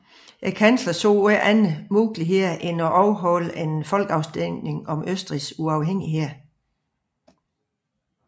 Kansleren så ikke anden mulighed end at afholde en folkeafstemning om Østrigs uafhængighed